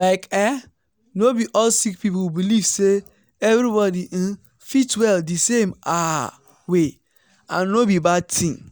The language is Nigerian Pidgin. like eeh no be all sick people believe say everybody um fit well di same ah way and no be bad tin.